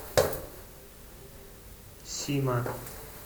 сима